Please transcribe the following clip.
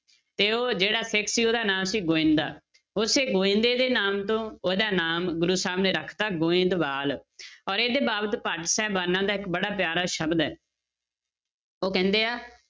ਤੇ ਉਹ ਜਿਹੜਾ ਸਿੱਖ ਸੀ ਉਹਦਾ ਨਾਂ ਸੀ ਗੋਵਿੰਦਾ, ਉੱਥੇ ਗੋਵਿੰਦੇ ਦੇ ਨਾਮ ਤੋਂ ਉਹਦਾ ਨਾਮ ਗੁਰੂ ਸਾਹਿਬ ਨੇ ਰੱਖ ਦਿੱਤਾ, ਗੋਬਿੰਦਵਾਲ ਔਰ ਇਹਦੇ ਬਾਬਤ ਭੱਟ ਸਾਹਿਬਾਨਾਂ ਦਾ ਇੱਕ ਬੜਾ ਪਿਆਰਾ ਸ਼ਬਦ ਹੈ ਉਹ ਕਹਿੰਦੇ ਆ,